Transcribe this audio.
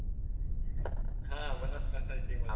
હા બનાસકાંઠા ની team હતી